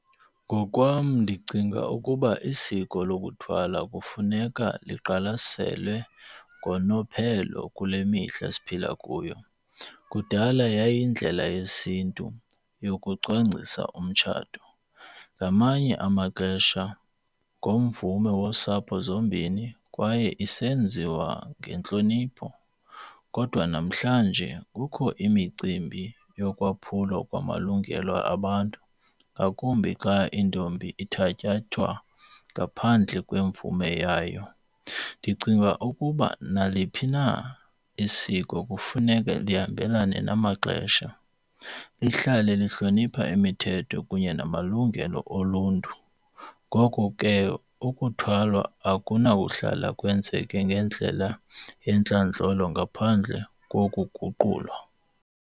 Ngokwam ndicinga ukuba isiko lokuthwala kufuneka liqwalaselwe ngonophelo kule mihla siphila kuyo. Kudala yayiyindlela yesiNtu yokucwangcisa umtshato. Ngamanye amaxesha ngomvume wosapho zombini kwaye isenziwa ngentlonipho. Kodwa namhlanje kukho imicimbi yokwaphula kwamalungelo abantu ngakumbi xa intombi ithatyathwa ngaphandle kwemvume yayo. Ndicinga ukuba naliphi na isiko kufuneke lihambelane namaxesha. Lihlale lihlonipha imithetho kunye namalungelo oluntu. Ngoko ke ukuthwalwa akunakuhlala kwenzeke ngendlela yentlandlolo ngaphandle kokuguqulwa.